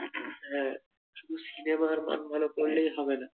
হা শুধু সিনেমার মান ভালো করলেই হবে না